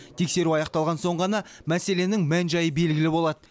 тексеру аяқталған соң ғана мәселенің мән жайы белгілі болады